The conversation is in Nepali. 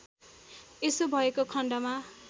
यसो भएको खण्डमा